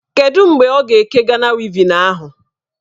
Kedụ mgbe ọ ga-eke Gana wevin ahụ?